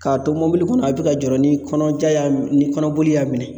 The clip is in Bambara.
K'a to mobili kɔnɔ a bɛ ka jɔ ni kɔnɔja y'a minɛ ni kɔnɔboli y'a minɛ